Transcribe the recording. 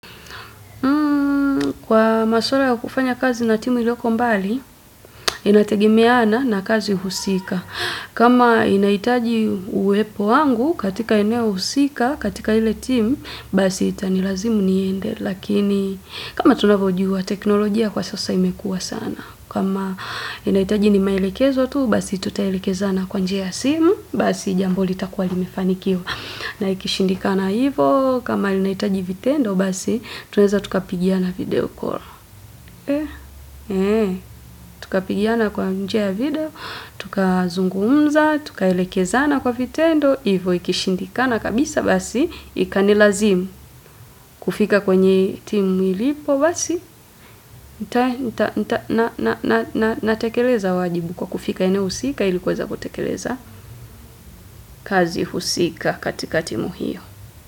Kwa maswala ya kufanya kazi na timu ilioko mbali, inategemeana na kazi husika. Kama inahitaji uwepo wangu katika eneo husika katika ile timu, basi itanilazimu niende. Lakini kama tunavyojua teknolojia kwa sasa imekuwa sana. Kama inahitaji ni maelekezo tu, basi tutaelekezana kwa njia ya simu, basi jambo litakuwa limefanikiwa. Na ikishindikana hivyo, kama linahitaji vitendo basi, twaweza tukapigiana video call. Tukapigiana kwa njia video, tukazungumza, tukaelekezana kwa vitendo, hivyo ikishindikana kabisa basi, ikanilazimu kufika kwenye timu ilipo basi, natekeleza wajibu kwa kufika eneo husika ili kuweza kutekeleza kazi husika katika timu hiyo.